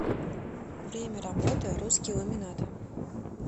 время работы русский ламинат